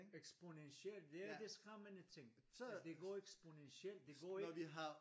Eksponentielt ja det skræmmende tænke at de går eksponentielt det går ikke